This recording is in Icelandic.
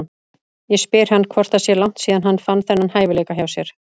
Ég spyr hann hvort það sé langt síðan hann fann þennan hæfileika hjá sér.